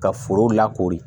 Ka foro lakori